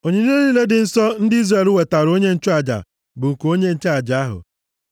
Onyinye niile dị nsọ ndị Izrel wetaara onye nchụaja bụ nke onye nchụaja ahụ.